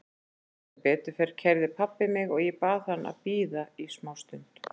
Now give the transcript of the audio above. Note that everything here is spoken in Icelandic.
Sem betur fer keyrði pabbi mig og ég bað hann að bíða í smá stund.